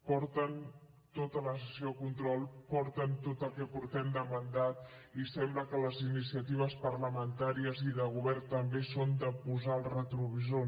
porten tota la sessió de control porten tot el que portem de mandat i sembla que les iniciatives parlamentàries i de govern també són de posar el retrovisor